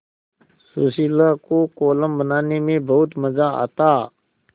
सुशीला को कोलम बनाने में बहुत मज़ा आता